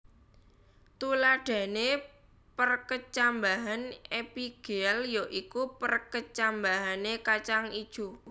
Tuladhané perkecambahan epigéal ya iku perkecambahané kacang ijo